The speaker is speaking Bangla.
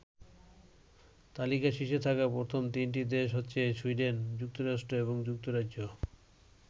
তালিকার শীর্ষে থাকা প্রথম তিনটি দেশ হচ্ছে সুইডেন, যুক্তরাষ্ট্র এবং যুক্তরাজ্য।